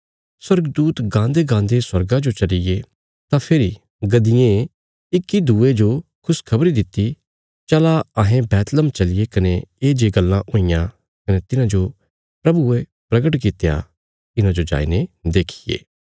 स्वर्गदूत गान्देगान्दे स्वर्गा जो चलिये तां फेरी गद्दिएं इक्कीदूये जो खुशखबरी दित्ति चला अहें बैतलहम चलिये कने ये जे गल्लां हुईयां कने तिन्हांजो प्रभुये परगट कित्या इन्हांजो जाईने देखिये